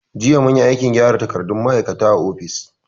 Jiya munyi aikin gyara takardun ma'aikata a ofis.